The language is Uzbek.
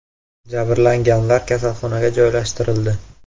Jabrlanganlar kasalxonaga joylashtirildi.